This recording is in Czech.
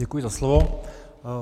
Děkuji za slovo.